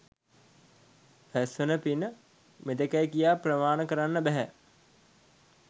රැස්වෙන පින මෙතෙකැයි කියා ප්‍රමාණ කරන්න බැහැ.